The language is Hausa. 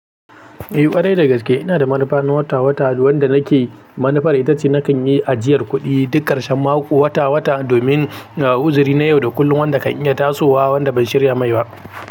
Eh ƙwarai dagaske, ina da manufa na wata-wata wanda nake, manufar ita ce nakan yi ajiyar kuɗi duk ƙarshen mako wata-wata domin uzuri na yau da kullum wanda kan iya tasowa wanda ban shirya mai ba.